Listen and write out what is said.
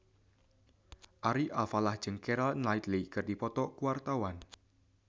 Ari Alfalah jeung Keira Knightley keur dipoto ku wartawan